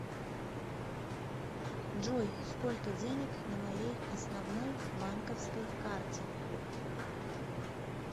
джой сколько денег на моей основной банковской карте